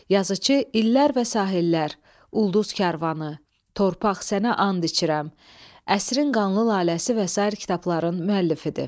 Yazıçı illər və sahillər, Ulduz Karvanı, Torpaq sənə and içirəm, Əsrin qanlı laləsi və sair kitabların müəllifidir.